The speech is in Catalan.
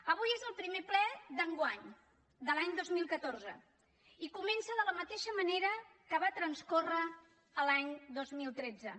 avui és el primer ple d’enguany de l’any dos mil catorze i comença de la mateixa manera que va transcórrer l’any dos mil tretze